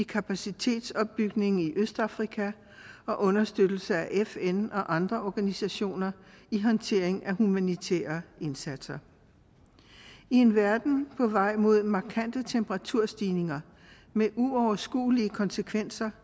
kapacitetsopbygningen i østafrika og understøttelse af fn og andre organisationer i håndtering af humanitære indsatser i en verden på vej mod markante temperaturstigninger med uoverskuelige konsekvenser